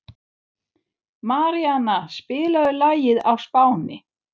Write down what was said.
Maríanna, spilaðu lagið „Á Spáni“.